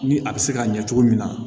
Ni a bɛ se ka ɲɛ cogo min na